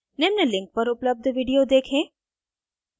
निम्न link पर उपलब्ध video देखें